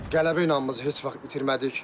Qələbə inamımızı heç vaxt itirmədik.